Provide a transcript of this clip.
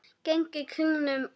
Gengið kringum vatnið.